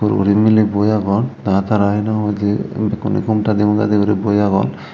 uguredi miley boi agon tara tara he nang hoidey bhekkuney ghumta di ghumta dey guri boi agon.